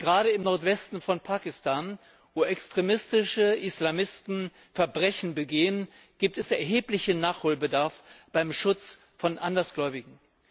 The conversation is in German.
Gerade im Nordwesten von Pakistan, wo extremistische Islamisten Verbrechen begehen, gibt es erheblichen Nachholbedarf beim Schutz von Andersgläubigen.